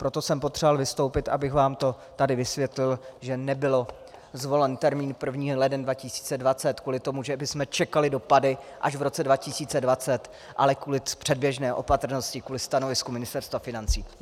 Proto jsem potřeboval vystoupit, abych vám to tady vysvětlil, že nebyl zvolen termín 1. leden 2020 kvůli tomu, že bychom čekali dopady až v roce 2020, ale kvůli předběžné opatrnosti, kvůli stanovisku Ministerstva financí.